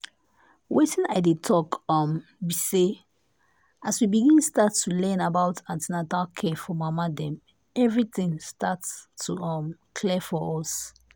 wetin i dey talk um be say as we begin start to learn about an ten atal care for mama dem everything start to um clear for us.